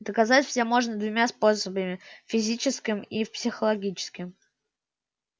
доказать же можно двумя способами физическим и психологическим